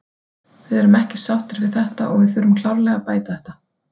Við erum ekki sáttir við þetta og við þurfum klárlega að bæta þetta.